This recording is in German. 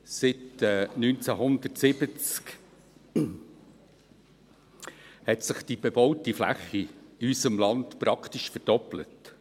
Seit 1970 hat sich die bebaute Fläche in unserem Land praktisch verdoppelt.